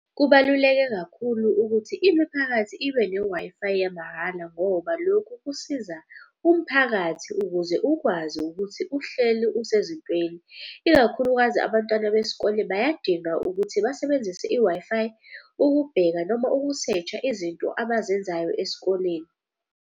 Kubaluleke kakhulu ukuthi imiphakathi ibe ne-Wi-Fi yamahhala ngoba lokhu kusiza umphakathi ukuze ukwazi ukuthi uhleli usezintweni. Ikakhulukazi abantwana besikole bayadinga ukuthi basebenzise i-Wi-Fi, ukubheka noma uku-search-a izinto abazenzayo esikoleni.